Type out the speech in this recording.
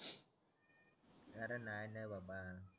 अरे नाय न बाबा